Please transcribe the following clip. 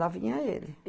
Lá vinha ele.